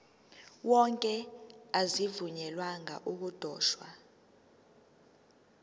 wonke azivunyelwanga ukudotshwa